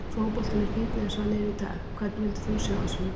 Fótboltinn er fínn eins og hann er í dag Hvern vildir þú sjá á sviði?